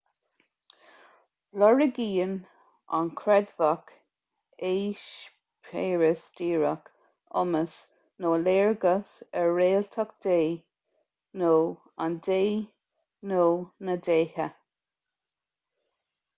lorgaíonn an creidmheach eispéireas díreach iomas nó léargas ar réaltacht dé/an dé nó na ndéithe